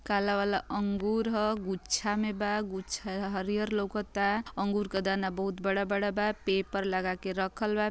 काला वाला अंगूर ह गुच्छा में बा गुच्छा हरिहर लउकता अंगूर क दाना बहुत बड़ा बड़ा बा पेपर लगा के रखल बा |